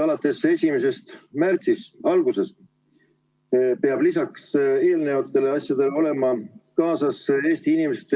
Alates 1. märtsist peab lisaks eelmistele asjadele Eesti inimestel olema kaasas